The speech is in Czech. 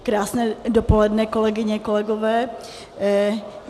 Krásné dopoledne, kolegyně, kolegové.